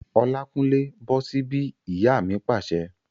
Olákúnlé, bọ́ sí bí! Ìyá mi pàṣẹ